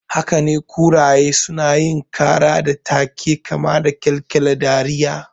Hakane, kuraye sunayin ƙara da take kama da ƙyalƙyala dariya